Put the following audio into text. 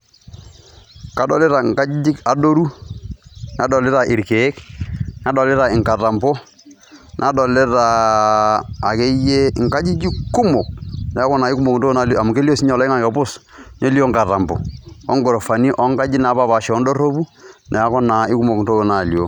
Kadolita inkajijik adoru, nadolita irkeek, nadolita inkatambo, nadolita akeyie inkajijik kumok. Neeku naa kumok intokitin naalio amu kelio sininye oloing'ang'e pus, nelio inkatambo ongurufani onkajijik napaashipaasha ondorropu neeku naa kumok intokitin naalioo.